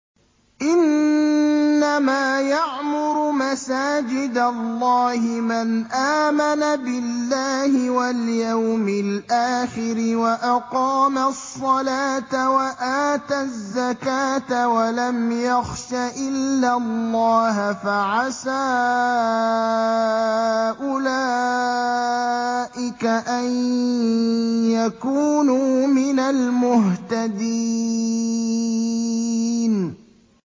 إِنَّمَا يَعْمُرُ مَسَاجِدَ اللَّهِ مَنْ آمَنَ بِاللَّهِ وَالْيَوْمِ الْآخِرِ وَأَقَامَ الصَّلَاةَ وَآتَى الزَّكَاةَ وَلَمْ يَخْشَ إِلَّا اللَّهَ ۖ فَعَسَىٰ أُولَٰئِكَ أَن يَكُونُوا مِنَ الْمُهْتَدِينَ